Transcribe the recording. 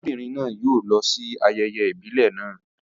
Arábìnrin náà yóò lọ sí ayẹyẹ ìbílẹ̀ naa